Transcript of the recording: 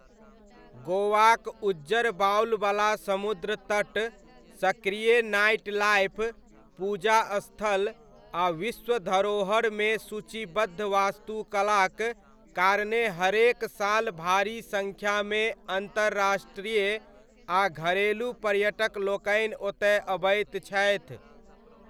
गोवाक उज्जर बालुवला समुद्र तट, सक्रिय नाइटलाइफ़, पूजा स्थल, आ विश्व धरोहरमे सूचीबद्ध वास्तुकलाक कारणेँ हरेक साल भारी सङ्ख्यामे अन्तर्राष्ट्रीय आ घरेलू पर्यटकलोकनि ओतय अबैत छथि।